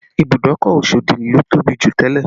Ìbùdókọ̀ Osodi ló tóbi jù tẹ́lẹ̀